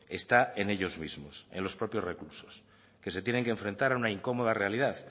está en ellos mismos en los propios reclusos que se tienen que enfrentar a una incómoda realidad